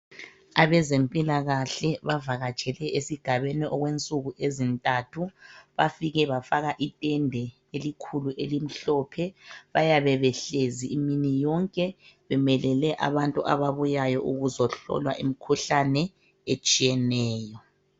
Abezempilakahle, bavakatshele esigabeni okwensuku ezintathu. Bafike bafaka itende, elikhulu, elimhlophe. Bayabe behlezi, imini yonke. Bemelele abantu, ababuya ukuzohlolwa, imikhuhlane, etshiyeneyo.